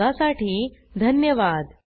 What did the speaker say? सहभागासाठी धन्यवाद